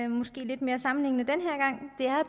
jeg